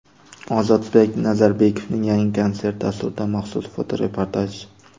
Ozodbek Nazarbekovning yangi konsert dasturidan maxsus fotoreportaj.